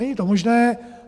Není to možné.